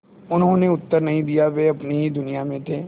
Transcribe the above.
उन्होंने उत्तर नहीं दिया वे अपनी ही दुनिया में थे